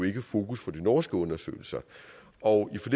ikke fokus for de norske undersøgelser og i